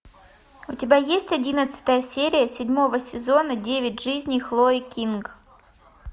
у тебя есть одиннадцатая серия седьмого сезона девять жизней хлои кинг